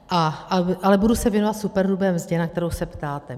Ale budu se věnovat superhrubé mzdě, na kterou se ptáte.